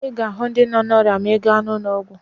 Ị ga-ahụ ndị nọ n'ọrịa ma ị baa n'ụlọọgwụ